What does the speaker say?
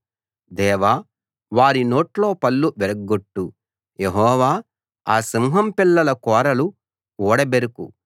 దేవా వారి నోట్లో పళ్ళు విరగ్గొట్టు యెహోవా ఆ సింహం పిల్లల కోరలు ఊడబెరుకు